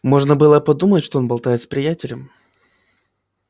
можно было подумать что он болтает с приятелем